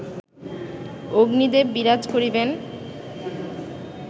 অগ্নিদেব বিরাজ করিবেন